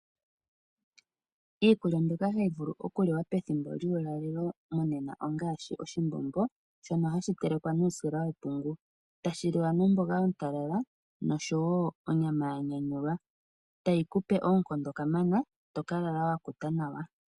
Iikulya mbyoka hayi vulu oku liwa pethimbo lyuulalelo monena ongashi:Oshimbombo , shono hashi telekwa nuusila wepungu, tashi liwa nomboga ontalala nosho woo onyama yanyanyulwa . Iikulya mbyoka ota yi kupe onkondo kamana ngoye toka lala wakuta nawa.